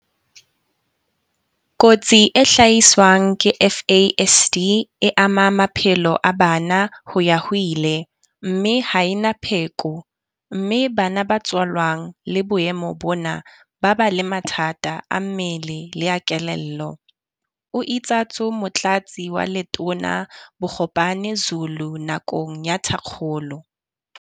Kotsi e hlaiswang ke FASD e ama maphelo a bana ho ya ho ile, mme ha e na pheko. Mme bana ba tswalwang le boemo bona ba ba le mathata a mmele le a kelello, o itsatso Motlatsi wa Letona Bogopane Zulu nakong ya thakgolo.